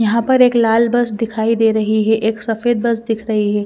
यहां पर एक लाल बस दिखाई दे रही है एक सफेद बस दिख रही है।